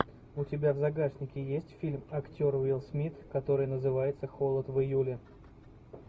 у тебя в загашнике есть фильм актер уилл смит который называется холод в июле